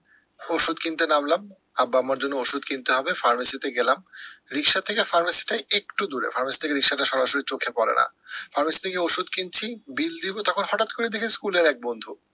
ঔষধ কিনতে নামলাম, আব্বা আম্মার জন্য ঔষধ কিনতে হবে pharmacy তে গেলাম, রিক্সা থেকে pharmacy টা একটু দূরে pharmacy থেকে রিক্সাটা সরাসরি চোখে পরে না pharmacy থেকে ওষুধ কিনছি bill দিবো তারপরে হটাৎ করে দেখি স্কুলের এক বন্ধু